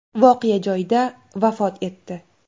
voqea joyida vafot etdi.